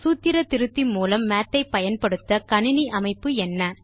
சூத்திர திருத்தி மூலம் மாத் ஐ பயன்படுத்த கணினி அமைப்பு என்ன